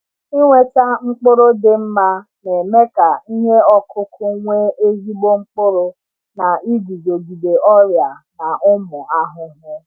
Ịnweta mkpụrụ dị mma na-eme ka ihe ọkụkụ nwee ezigbo mkpụrụ na iguzogide ọrịa na ụmụ ahụhụ.